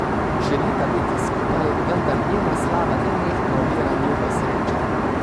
Želita biti skupaj, vendar njena slava nenehno ovira njuno srečo.